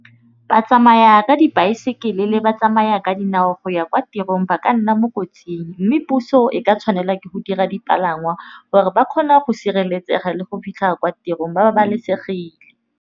Ba tsamaya ka dibaesekele le batsamaya ka dinao go ya kwa tirong ba ka nna mo kotsing. Mme puso e ka tshwanela ke go dira dipalangwa gore ba kgona go sireletsega le go fitlha kwa tirong ba babalesegile.